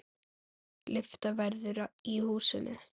Lyfta verður í húsinu.